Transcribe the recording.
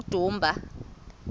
udumba